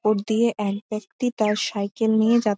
road দিয়ে এক ব্যাক্তি তার সাইকেল নিয়ে যাচ্ছ--